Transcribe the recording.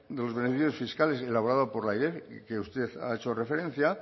de los beneficios fiscales elaborado por la airef que usted ha hecho referencia